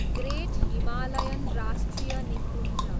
great Himalayan राष्ट्रिय निकुञ्ज